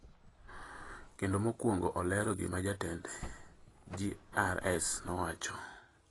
kendo mokwongo olero gima jatend GRS nowacho.